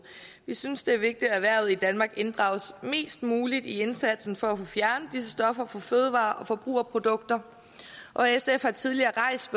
vi synes det er vigtigt at erhvervet i danmark inddrages mest muligt i indsatsen for at få fjernet disse stoffer fra fødevarer og forbrugerprodukter og sf har tidligere rejst